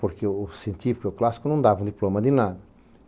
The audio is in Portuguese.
Porque o científico e o clássico não davam diploma de nada.